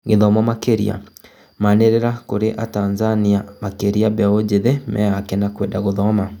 Gũthomo makĩria: manĩrĩa kũrĩ atanzania makĩria mbeũ njĩthĩ meyake na kwenda gũthoma